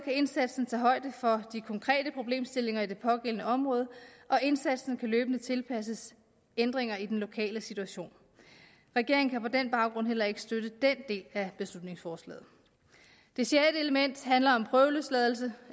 indsatsen tage højde for de konkrete problemstillinger i det pågældende område og indsatsen kan løbende tilpasses ændringer i den lokale situation regeringen kan på den baggrund heller ikke støtte den del af beslutningsforslaget det sjette element handler om prøveløsladelse